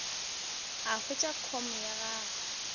o hwetše com ya gago